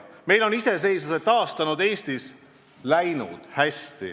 Meil on iseseisvuse taastanud Eestis hästi läinud.